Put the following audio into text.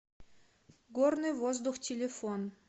горный воздух телефон